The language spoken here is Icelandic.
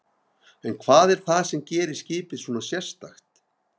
En hvað er það sem gerir skipið svona sérstakt?